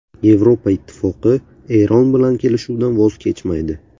Yevropa Ittifoqi Eron bilan kelishuvdan voz kechmaydi.